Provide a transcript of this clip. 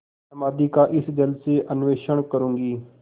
समाधि का इस जल से अन्वेषण करूँगी